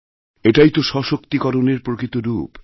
এটাই তোসশক্তিকরণের প্রকৃত রূপ